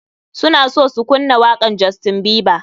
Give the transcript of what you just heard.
Suna so su kunna wakan justien bieber.